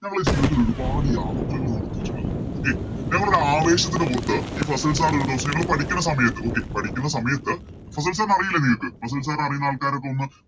നമ്മളെ ജീവിതത്തില് ഒരുപാട് യാത്രകള് നടത്തീട്ടുള്ളത് Okay നമ്മളൊരു ആവേശത്തിൻറെ പുറത്ത് ഈ ഫസിൽ Sir ഒരു ദിവസം ഞങ്ങള് പഠിക്കണ സമയത്ത് Okay പഠിക്കണ സമയത്ത് ഫസിൽ Sir നെ അറിയില്ലേ നിങ്ങക്ക് ഫസിൽ Sir നെ അറിയുന്ന ആൾക്കാരൊക്കെ ഒന്ന്